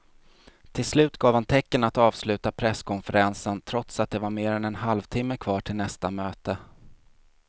Till slut gav han tecken att avsluta presskonferensen trots att det var mer än en halvtimme kvar till nästa möte.